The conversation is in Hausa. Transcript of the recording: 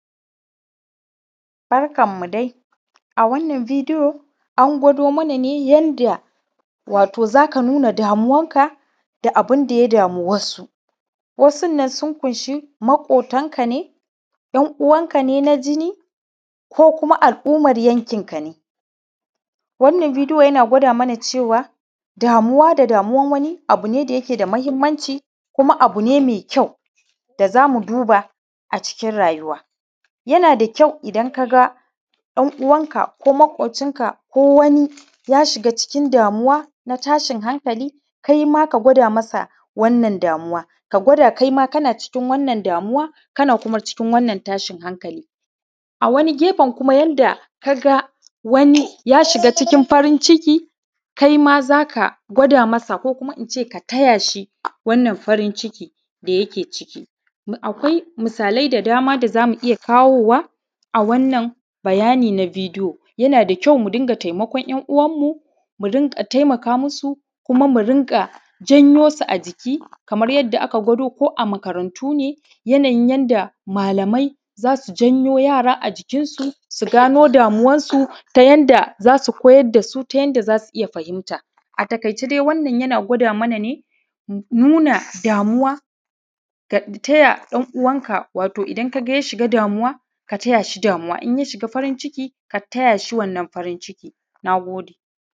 Barkanmu dai, a wannan bidiyo an gwado mana ne yanda wato za ka nuna damuwanka da abunda ya dama wasu. Wasun nan sun ƙunshi maƙotanka, 'yan-uwanka na jini, ko kuma al’umar yankinka. Wannan bidiyo yana gwada mana cewa damuwa da damuwan wani abu ne da yake da mahimmanci, kuma abu ne mai kyau da za mu duba a cikin rayuwa. Yana da kyau idan ka ga ɗan-uwanka, ko maƙocinka, ko wani, ya shiga cikin damuwa, na tashin hankali kai ma ka gwada mai wannan damuwa, ka gwada kai ma kana cikin wannan damuwa, kana kuma cikin wannan tashin hankali. A wani gefe kuma, yana da kyau yanda ka ga wani ya shiga cikin farin-ciki, kai ma za ka gwada mai, ko kuma in ce ka taya shi wannan farin-cikin da yake ciki. Akwai misalai da dama da za mu iya kawo wa a wannan bayani na bidiyo. Yana da kyau mu dinga taimakon 'yan-uwanmu, mu rinka taimakamu su, kuma mu rinƙajan yo su a jiki. Kamar yanda aka gwado ko a makarantu ne yanayin yanda malamai za su janyo yara a jikinsu, su gano damuwansu, ta yanda za su koyar da su ta yanda za su fahimta. A taƙaice, wannan yana gwada mana ne: nuna damuwa, ka taya ɗan-uwanka idan ka ga ya shiga cikin wani damuwa; ka taya shi damuwa in ya shiga cikin farin-ciki, ka taya shi wannan farin-ciki. Na gode.